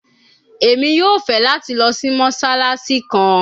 Emi yoo fẹ lati lọ si Mossalassi kan